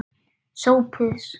SOPHUS: Hvað?